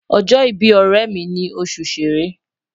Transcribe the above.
Ojo ibi oremi ni osu Sere